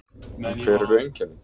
En hver eru einkennin?